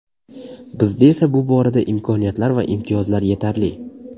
Bizda esa bu borada imkoniyatlar va imtiyozlar yetarli.